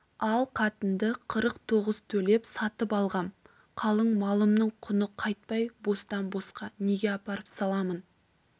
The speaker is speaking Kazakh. ал қатынды қырық тоғыз төлеп сатып алғам қалың малымның құны қайтпай бостан-босқа неге апарып саламын